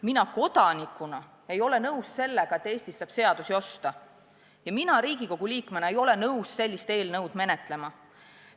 Mina kodanikuna ei ole nõus sellega, et Eestis saab seadusi osta, ja Riigikogu liikmena ei ole ma nõus sellist eelnõu menetlema.